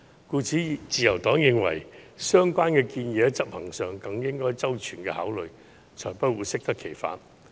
故此，自由黨認為相關建議在執行上需要更周全的考慮，才不會適得其反。